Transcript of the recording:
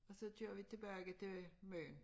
Og så kører vi tilbage til Møn